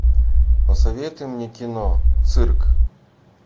посоветуй мне кино цирк